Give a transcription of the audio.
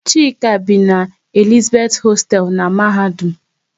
Chika bi n'Elizabeth hosteelu n'mahadum